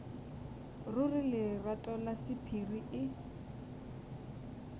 ruri lerato la sephiri e